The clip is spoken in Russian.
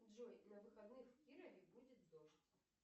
джой на выходных в кирове будет дождь